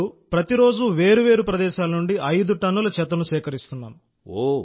ఇప్పుడు మేం ప్రతిరోజూ వేర్వేరు ప్రదేశాల నుండి ఐదు టన్నుల చెత్తను సేకరిస్తున్నాం